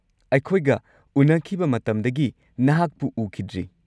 ꯑꯩꯈꯣꯏꯒ ꯎꯅꯈꯤꯕ ꯃꯇꯝꯗꯒꯤ ꯅꯍꯥꯛꯄꯨ ꯎꯈꯤꯗ꯭ꯔꯤ꯫